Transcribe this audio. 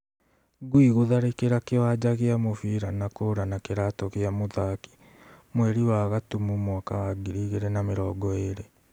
Ngui gũtharĩkĩra kĩwanja gĩa mũbira na kũra na kĩratu gĩa mũthaki ,mweri wa gatumu mwaka wa ngiri igĩrĩ na mĩrongo ĩrĩ